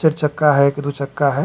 चर चक्का हय कि दू चक्का हय?